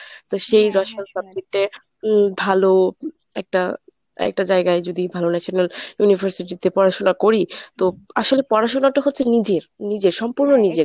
তো সেই রসায়ন subject এ উম ভালো একটা একটা জায়গায় যদি ভালো national university তে পড়াশোনা করি তো আসলে পড়াশোনাটা হচ্ছে নিজের নিজের সম্পূর্ণ নিজের।